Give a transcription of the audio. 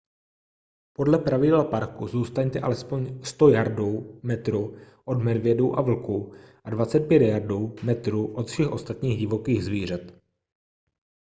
podle pravidel parku zůstaňte alespoň 100 yardů/metrů od medvědů a vlků a 25 yardů/metrů od všech ostatních divokých zvířat!